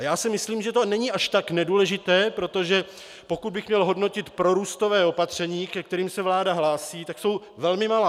A já si myslím, že to není až tak nedůležité, protože pokud bych měl hodnotit prorůstová opatření, ke kterým se vláda hlásí, tak jsou velmi malá.